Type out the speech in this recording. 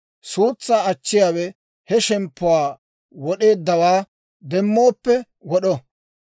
Suutsaa achchiyaawe he shemppuwaa wod'eeddawaa demmooppe wod'o.